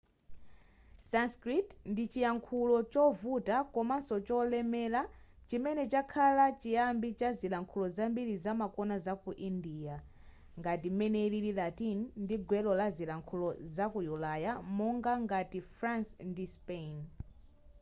sanskrit ndi chiyankhulo chovuta komanso cholemela chimene chakhala chiyambi cha zilankhulo zambiri zamakono zaku india ngati m'mene ilili latin ndi gwero la zilankhulo zaku ulaya monga ngati france ndi spain